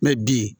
Mɛ bi